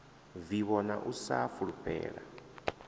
vivho na u sa fulufhela